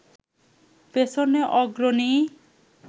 পেছনে অগ্রণী